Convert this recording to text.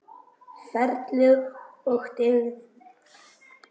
Ferlið og dygðin.